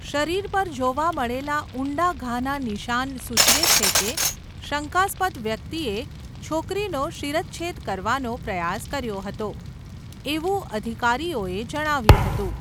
શરીર પર જોવા મળેલા ઊંડા ઘાના નિશાન સૂચવે છે કે શંકાસ્પદ વ્યક્તિએ છોકરીનો શિરચ્છેદ કરવાનો પ્રયાસ કર્યો હતો, એવું અધિકારીઓએ જણાવ્યુંં હતું.